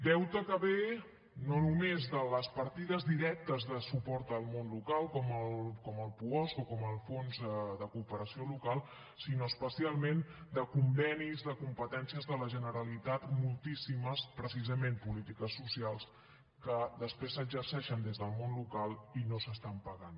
deute que ve no només de les partides directes de suport al món local com el puosc o com el fons de cooperació local sinó especialment de convenis de competències de la generalitat moltíssimes precisament polítiques socials que després s’exerceixen des del món local i no s’estan pagant